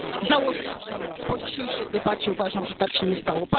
Założę się, że nikt. Po dzisiejszej debacie uważam, że tak się nie stało.